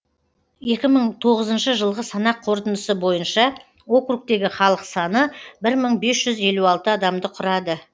екі мың тоғызыншы жылғы санақ қорытындысы бойынша округтегі халық саны бір мың бес жүз елу алты адамды құрады